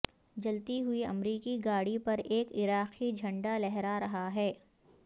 جلتی ہوئی امریکی گاڑی پر ایک عراقی جھنڈا لہرا رہا ہے